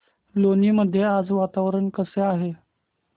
लोणी मध्ये आज वातावरण कसे आहे